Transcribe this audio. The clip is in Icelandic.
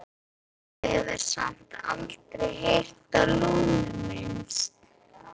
Og hefur samt aldrei heyrt á Lúnu minnst?